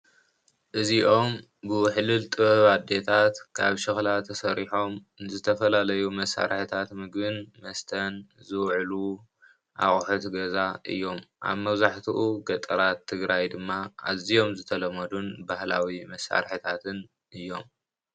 እዚኦም ብውሕሉል ጥበብ አዴታት ካብ ሸክላ ተሰሪሖም ንዝተፈላለዩ መሳርሕታት ምግብን መስተን ዝውዕሉ እቑሑት ገዛ እዮም አብ መብዛሕትኡ ገጠራት ትግራይ ድማ ኣዚዮም ዝተለመዱን ባህላዊ መሳርሕታትን እዮም።